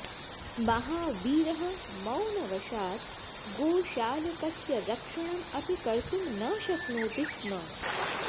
महावीरः मौनवशात् गोशालकस्य रक्षणम् अपि कर्तुं न शक्नोति स्म